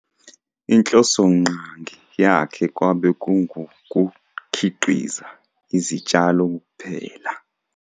Inhlosonqangi yakhe kwabe kungukukhiqiza izitshalo kuphela.